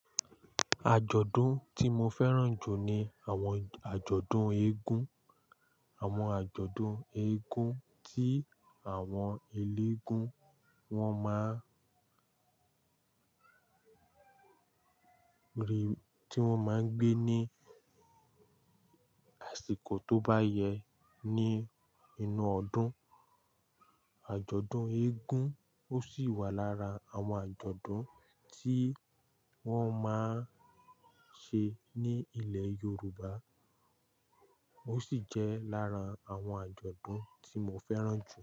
Àjọ̀dún tí mo fẹ́ràn jù ni àwọn àjọ̀dún eégún. Àwọn àjọ̀dún eégún tí àwọn eléégún wọn máa ń rí, tí wọ́n máa ń gbé ní àsìkò tó bá yẹ ní inú ọdún. Àjọ̀dún eégún ó sì wà lára àwọn àjọ̀dún tí wọ́n máa ń ṣe ní ilẹ̀ Yorùbá, ó sì jẹ́ lára àwọn àjọ̀dún tí mo fẹ́ràn jù.